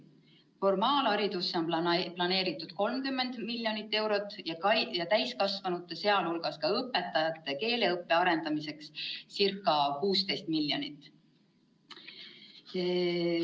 Formaalhariduse jaoks on planeeritud 30 miljonit eurot ja täiskasvanute, sh õpetajate keeleõppe arendamiseks circa 16 miljonit.